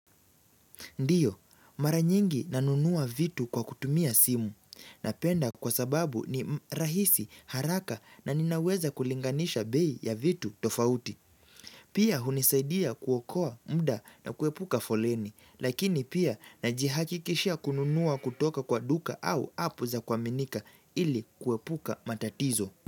Ndiyo, mara nyingi ninanunua vitu kwa kutumia simu, napenda kwa sababu ni rahisi haraka na ninaweza kulinganisha bei ya vitu tofauti. Pia hunisaidia kuokoa muda na kuepuka foleni, lakini pia najihakikishia kununua kutoka kwa duka au app za kuaminika ili kuepuka matatizo.